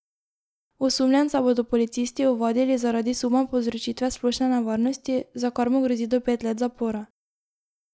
Osumljenca bodo policisti ovadili zaradi suma povzročitve splošne nevarnosti, za kar mu grozi do pet let zapora.